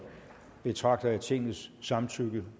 betragter jeg tingets samtykke